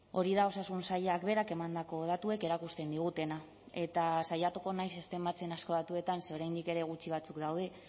hori da osasun sailak berak emandako datuek erakusten digutena eta saiatuko naiz ez tematzen asko datuetan ze oraindik ere gutxi batzuk daude